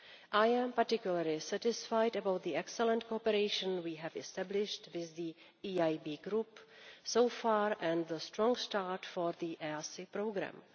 I am particularly satisfied about the excellent cooperation we have established with the EIB group so far and the strong start for the EaSI programme.